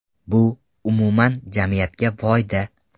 Bu, umuman, jamiyatga foyda.